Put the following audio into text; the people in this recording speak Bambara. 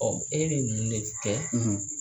e bɛ ne kɛ